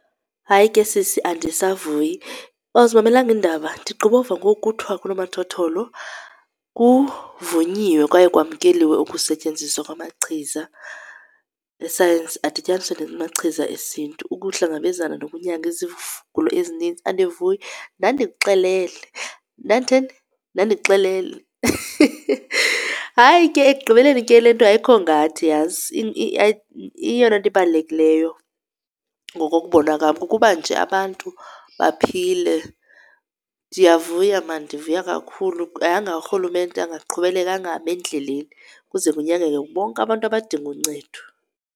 Hayi ke sisi andisavuyi. Awuzimamelanga iindaba? Ndigqiba ukuva ngoku kuthwa kunomathotholo kuvunyiwe kwaye kwamkeliwe ukusetyenziswa kwamachiza esayensi adityaniswe namachiza esiNtu ukuhlangabezana nokunyanga izigulo ezininzi. Andivuyi. Ndandikuxelele. Ndanditheni? Ndandikuxelele. Hayi ke ekugqibeleni ke le nto ayikho ngathi yazi eyona nto ibalulekileyo ngokokubona kwam kukuba nje abantu baphile. Ndiyavuya mani, ndivuya kakhulu, yanga urhulumente angaqhubeleka angami endleleni kuze kunyangeke bonke abantu abadinga uncedo.